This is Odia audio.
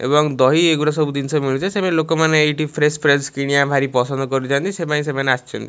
ଏବଂ ଦହି ଏଗୁଡ଼ା ସବୁ ଜିନିଷ ମିଳୁଛି ସେମାନେ ଲୋକମାନେ ଏଠି ଫ୍ରେସ୍ ଫ୍ରେସ୍ କିଣିବା ଭାରି ପସନ୍ଦ କରୁଛନ୍ତି ସେପାଇଁ ସେମାନେ ଆସିଛନ୍ତି।